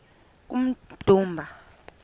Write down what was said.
kummdumba